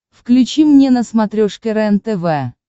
включи мне на смотрешке рентв